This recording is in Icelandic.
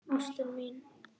Ástin mín